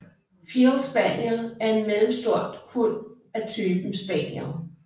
Field Spaniel er en mellemstor hund af typen spaniel